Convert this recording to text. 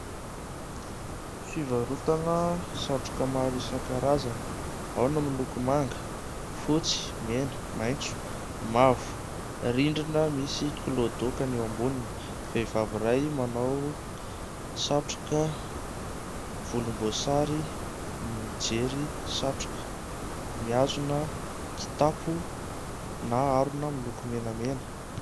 Fivarotana satroka maro isan-karazany, ao ny miloko : fotsy, mena, maintso, mavo. Rindrina misy kilaodaoka ny eo amboniny. Vehivavy iray manao satroka volomboasary mijery satroka, mihazona kitapo na harona miloko menamena.